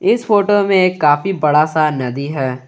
इस फोटो में एक काफी बड़ा सा नदी है।